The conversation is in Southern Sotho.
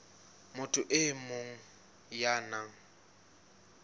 motho e mong ya nang